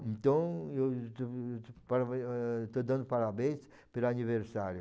Então, eu estou dando parabéns pelo aniversário.